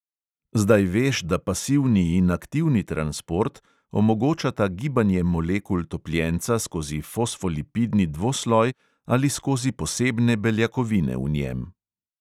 Zdaj veš, da pasivni in aktivni transport omogočata gibanje molekul topljenca skozi fosfolipidni dvosloj ali skozi posebne beljakovine v njem.